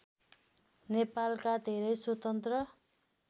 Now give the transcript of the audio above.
नेपालका धेरै स्वतन्त्र